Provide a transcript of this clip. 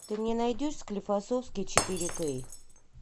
ты мне найдешь склифасовский четыре кей